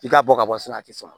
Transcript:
I ka bɔ ka bɔ so a ti sɔn